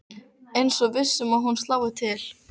Eins og viss um að hún slái til.